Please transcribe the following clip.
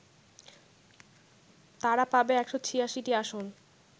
তারা পাবে ১৮৬টি আসন